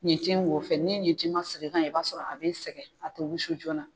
Ɲintin wo fɛ ni ye ɲintin ɲuman sigi kan ye i b'a sɔrɔ a bɛ sɛgɛn a tɛ wusu joona.